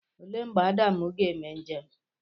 Olee mgbe Adam ga-eme njem?